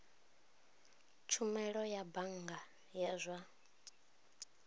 tshumelo ya bannga ya zwa